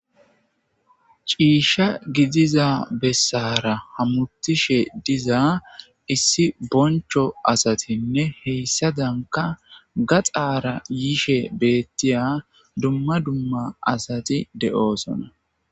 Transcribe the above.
ciisha gidiza bessara hamutishe diza issi boncho asatinne heyssa danka gaxaara yishe beettiya dumma dumma asati de7oosona